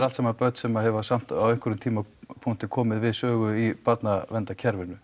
allt saman börn sem hafa á einhverjum tímapunkti komið við sögu í barnaverndarkerfinu